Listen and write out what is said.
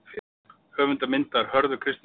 Höfundur myndar: Hörður Kristinsson.